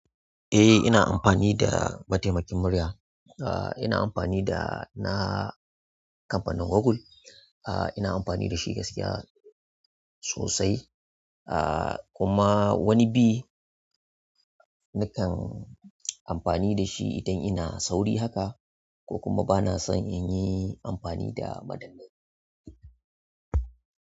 Eh ina amfani da mataimakin muryar ina amfani dana kamfanin Google. Ina amfani dashi gaskiya sosai. Kuma wani bi nakan amfani dashi idan ina sauri haka ko kuma bana son inyi amfani da madannai.